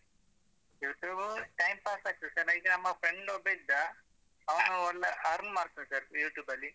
YouTube time pass ಅಗ್ತದೆ sir ನ ಇದು ನಮ್ಮ friend ಒಬ್ಬ ಇದ್ದ ಅವ್ನು ಒಂದ್ earn ಮಾಡ್ತಿದ್ದಾರೆ YouTube ಅಲ್ಲಿ.